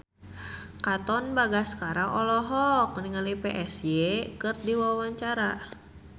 Katon Bagaskara olohok ningali Psy keur diwawancara